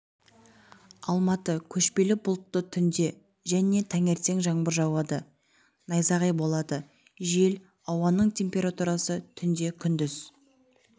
алматы көшпелі бұлтты түнде және таңертең жаңбыр жауады найзағай болады жел ауаның температурасы түнде күндіз